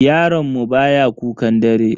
Yaron mu baya kukan dare.